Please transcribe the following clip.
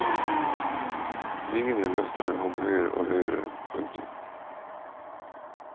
Vingene løfter ham høyere og høyere. punktum